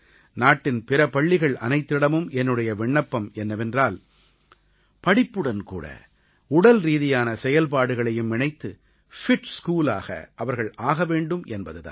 நாட்டின் பிற பள்ளிகள் அனைத்திடமும் என்னுடைய விண்ணப்பம் என்னவென்றால் படிப்புடன்கூட உடல்ரீதியான செயல்பாடுகளையும் இணைத்து ஃபிட் ஸ்கூலாக அவர்கள் ஆக வேண்டும் என்பது தான்